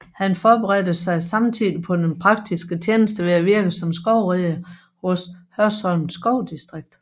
Han forberedte sig samtidig på den praktiske tjeneste ved at virke som skovrider hos Hørsholm Skovdistrikt